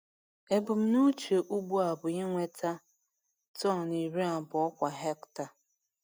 Ebumnuche ugbo a bụ inweta tọn iri abụọ kwa hekta.